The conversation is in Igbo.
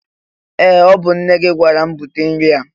Ee! Ọ bụ nne gị gwara m bute nri a.